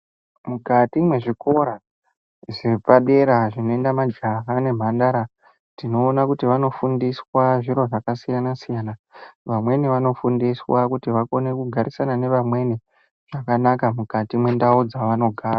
Mukati mezvikora zvepadera zvinoenda majaha nemhandara tinoona kuti vanofundiswa zviro zvakasiyanasiyana vamweni vanofundiswa kugarisana nevamweni mukati mendavo dzevanogara .